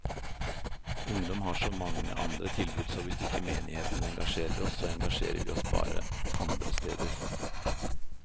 Ungdom har så mange andre tilbud, så hvis ikke menigheten engasjerer oss, så engasjerer vi oss bare andre steder.